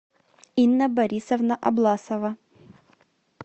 инна борисовна обласова